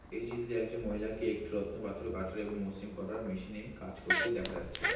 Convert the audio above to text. এই চিত্রে একজন মহিলাকে একটি রত্ন পাথরও কাটার এবং মসৃণ করার মেশিন এ কাজ করতে দেখা যাচ্ছে।